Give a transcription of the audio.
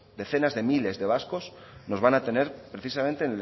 decenas de miles de vascos nos van a tener precisamente